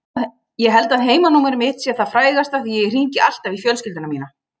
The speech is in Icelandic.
Ég held að heimanúmerið mitt sé það frægasta því ég hringi alltaf í fjölskylduna mína.